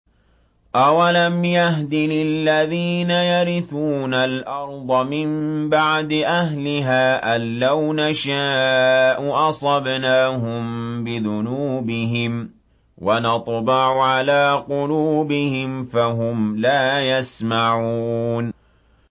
أَوَلَمْ يَهْدِ لِلَّذِينَ يَرِثُونَ الْأَرْضَ مِن بَعْدِ أَهْلِهَا أَن لَّوْ نَشَاءُ أَصَبْنَاهُم بِذُنُوبِهِمْ ۚ وَنَطْبَعُ عَلَىٰ قُلُوبِهِمْ فَهُمْ لَا يَسْمَعُونَ